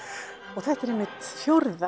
og þetta er einmitt fjórða